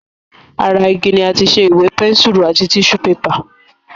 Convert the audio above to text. Ara igi ni àti ṣe Ìwé, pẹ́nsùrù àti tíṣù bébà